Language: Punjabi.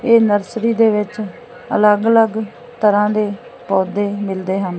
ਇਹ ਨਰਸਰੀ ਦੇ ਵਿੱਚ ਅਲੱਗ-ਅਲੱਗ ਤਰ੍ਹਾਂ ਦੇ ਪੌਧੇ ਮਿਲਦੇ ਹਨ।